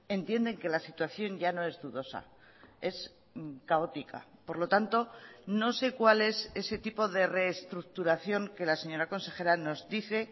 entienden que la situación ya no es dudosa es caótica por lo tanto no sé cuál es ese tipo de reestructuración que la señora consejera nos dice